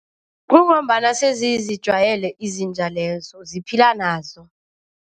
Kungombana sezizijwayele izinja lezo, ziphila nazo.